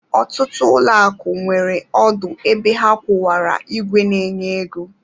Ọtụtụ ụlọakụ nwere ọdụ ebe ha kwụwara ìgwè na-enye ego